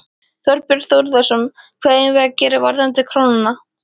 Þorbjörn Þórðarson: Hvað eigum við að gera varðandi krónuna?